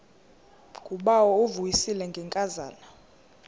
ngubawo uvuyisile ngenkazana